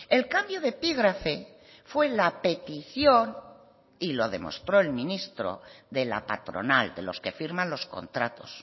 el cambio de epígrafe fue la petición y lo demostró el ministro de la patronal de los que firman los contratos